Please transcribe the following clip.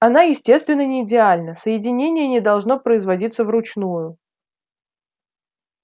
она естественно не идеальна соединение не должно производиться вручную